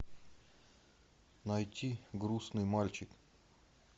найти грустный мальчик